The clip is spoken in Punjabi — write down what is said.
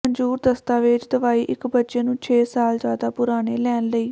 ਮਨਜ਼ੂਰ ਦਸਤਾਵੇਜ਼ ਦਵਾਈ ਇੱਕ ਬੱਚੇ ਨੂੰ ਛੇ ਸਾਲ ਜ਼ਿਆਦਾ ਪੁਰਾਣੇ ਲੈਣ ਲਈ